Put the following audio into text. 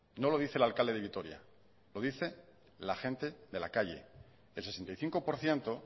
no lo dice el alcalde de vitoria lo dice la gente de la calle el sesenta y cinco por ciento